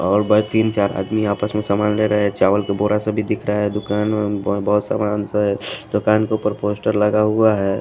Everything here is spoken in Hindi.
और भाई तीन चार आदमी आपस में सामान ले रहे हैं चावल का बोरा सा भी दिखता है दुकान बहुत सामान सा है दुकान के ऊपर पोस्टर लगा हुआ है।